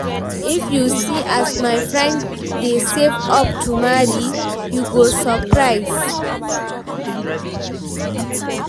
if you see as my friend dey save up to marry, you go surprise.